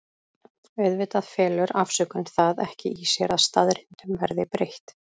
Auðvitað felur afsökun það ekki í sér að staðreyndum verði breytt.